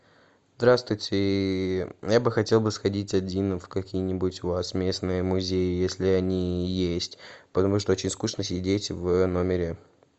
здравствуйте я бы хотел бы сходить один в какие нибудь у вас местные музеи если они есть потому что очень скучно сидеть в номере